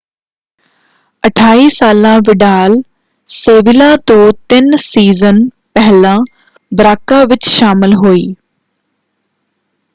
28 ਸਾਲਾ Vidal Sevilla ਤੋਂ ਤਿੰਨ ਸੀਜ਼ਨ ਪਹਿਲਾਂ ਬਰਾਕਾ ਵਿੱਚ ਸ਼ਾਮਲ ਹੋਈ।